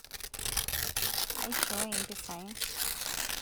aishoo impisai